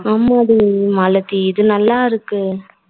ஆமா டி மாலதி இது நல்லா இருக்கு